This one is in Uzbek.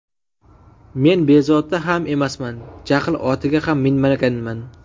Men bezovta ham emasman, jahl otiga ham minmaganman.